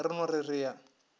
re no re re a